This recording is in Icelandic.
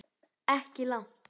Ekki langt.